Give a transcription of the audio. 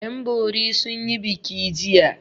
Yanbori sun yi biki jiya.